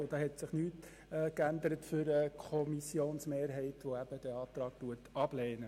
Für die Kommissionsmehrheit, die den Antrag der Kommissionsminderheit ablehnt, hat sich nichts geändert.